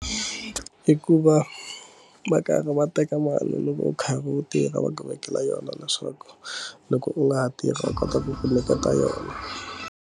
Hikuva va karhi va teka mali loko u kha u tirha va vekela yona leswaku loko u nga ha tirhi va kota ku ku nyiketa yona.